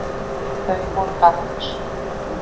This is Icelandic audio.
Þau voru barnlaus